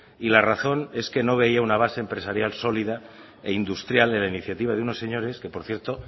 y la razón es que no veía una base empresarial solida e industrial en la iniciativa de unos señores que por cierto